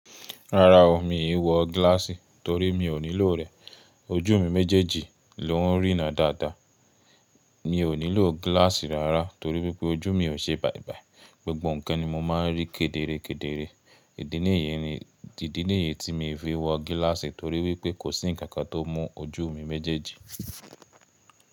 Rárá o, mi ì wọ gíláàsì torí mi ò nílò rẹ̀. Ojú mi méjèèjì ló ń rína dáadáa. Mi ò nílò gíláàsì rárá torí wípé ojú mi ò ṣe bàibài. Gbogbọn ǹkan ni mo máa ń rí kederekedere. Èdè nìyẹn ni, èdè nìyẹn tí mo fi wọ gíláàsì torí wípé kò sí ǹkan kan tó mú ojú mi méjèèjì.